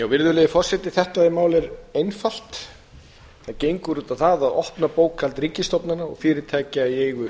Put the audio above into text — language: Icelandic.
virðulegi forseti þetta mál er einfalt það gengur út á það að opna bókhald ríkisstofnana og fyrirtækja í eigu